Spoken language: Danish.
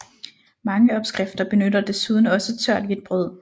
Mange opskrifter benytter desuden også tørt hvidt brød